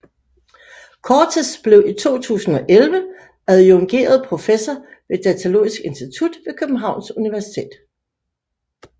Cortes blev i 2011 adjungeret professor ved Datalogisk Institut ved Københavns Universitet